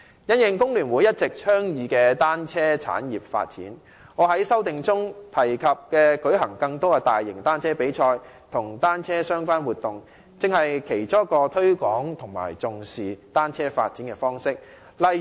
因應工聯會一直倡議的單車產業發展，我在修正案中提及舉行更多的大型單車比賽及與單車相關的活動，正是其中一個推廣和重視單車發展的方式。